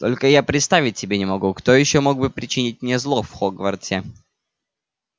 только я представить себе не могу кто ещё мог бы причинить мне зло в хогвартсе